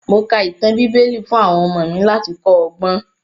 Mo ka ìtàn bíbẹ́lì fún àwọn ọmọ mi láti kọ́ ọgbọ́n.